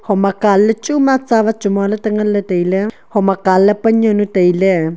ama kanley chuma tsavat chu moaley ta nganley tailey hom akanley pan yaonu tailey.